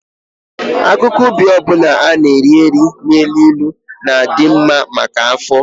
Akụkụ ubi ọ bụla a na-eri eri na-elu ilu na-adị mma maka afọ.